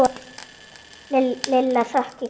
Lilla hrökk í kút.